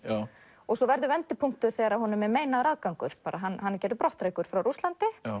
og svo verður vendipunktur þegar honum er meinaður aðgangur hann er gerður brottrækur frá Rússlandi